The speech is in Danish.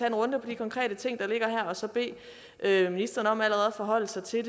en runde på de konkrete ting der ligger her og så bede ministeren om allerede at forholde sig til